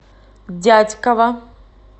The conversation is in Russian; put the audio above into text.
дятьково